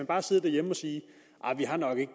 bare sidde derhjemme og sige vi har nok ikke